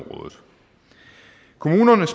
kommunerne